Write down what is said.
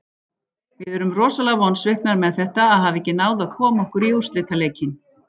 Við erum rosalega vonsviknar með þetta, að hafa ekki náð að koma okkur í úrslitaleikinn.